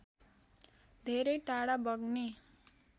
धेरै टाढा बग्ने